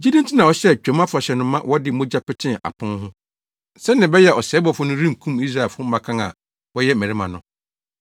Gyidi nti na ɔhyɛɛ Twam Afahyɛ no ma wɔde mogya petee apon ho, sɛnea ɛbɛyɛ a ɔsɛebɔfo no renkum Israelfo mmakan a wɔyɛ mmarima no.